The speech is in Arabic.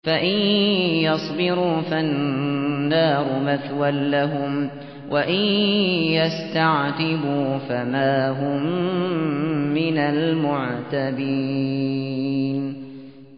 فَإِن يَصْبِرُوا فَالنَّارُ مَثْوًى لَّهُمْ ۖ وَإِن يَسْتَعْتِبُوا فَمَا هُم مِّنَ الْمُعْتَبِينَ